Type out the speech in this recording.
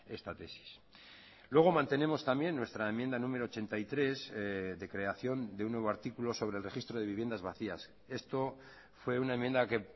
esta tesis luego mantenemos también nuestra enmienda número ochenta y tres de creación de un nuevo artículo sobre el registro de viviendas vacías esto fue una enmienda que